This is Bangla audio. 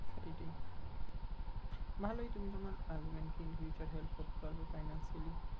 সেইটাই ভালোই তুমি তোমার husband কে in future help করতে পারবে financially